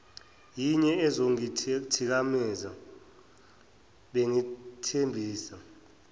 yinye ezongithikameza bengethembise